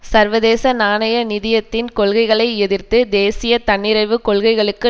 சர்வதேச நாணய நிதியத்தின் கொள்கைகளை எதிர்த்து தேசிய தன்னிறைவுக் கொள்கைகளுக்கு